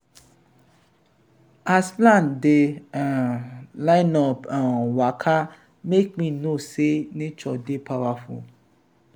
as ants dey um line-up um waka make me know sey nature dey powerful.